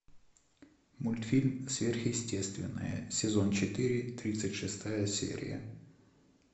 мультфильм сверхъестественное сезон четыре тридцать шестая серия